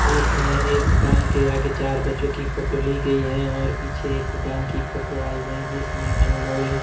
इसमें एक दुकान के आगे चार बच्चों की फोटो ली गई है और पीछे एक दुकान की फोटो आई है जिसमें अनमोल--